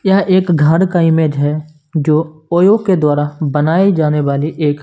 यह एक घर का इमेज है जो ओयो के द्वारा बनाए जाने वाली एक--